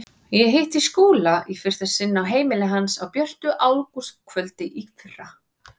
Ég hitti Skúla í fyrsta sinn á heimili hans á björtu ágústkvöldi í fyrra.